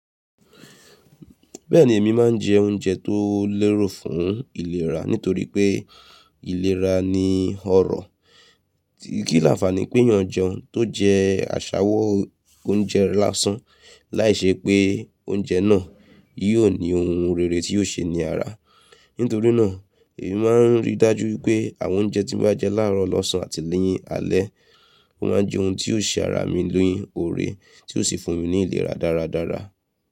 Bẹ́ẹ̀ni, èmi máa ń jẹ oúnjẹ tó lérò fún ìlera nítorí pé ìlera ni ọrọ̀. Kí làǹfààní pé eeyàn jeun tó jẹ àṣàwọ́ oúnjẹ lásán, láìṣe pé oúnjẹ náà yóò ní ohun rere tí yóò ṣe ní ara. Nítorí náà, èmi máa ń rí dájú pé àwọn oúnjẹ tí mo bá jẹ láàárọ̀ lọ́sàn-án àti ni alẹ́, mo máa ń jẹ ohun tí yóò ṣe ara mi lẹ́yìn oore, tí ó sì fún mi ní ìlera dáradára.